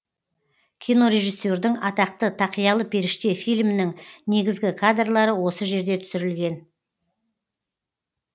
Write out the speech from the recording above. кинорежиссердің атақты тақиялы періште фильмінің негізгі кадрлары осы жерде түсірілген